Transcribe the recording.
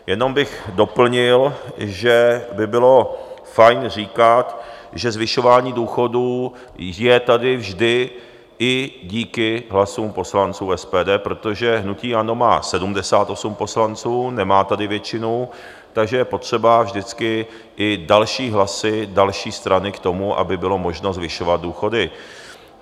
Jenom bych doplnil, že by bylo fajn říkat, že zvyšování důchodů je tady vždy i díky hlasům poslanců SPD, protože hnutí ANO má 78 poslanců, nemá tady většinu, takže je potřeba vždycky i další hlasy, další strany k tomu, aby bylo možno zvyšovat důchody.